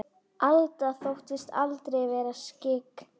Alda þóttist aldrei vera skyggn.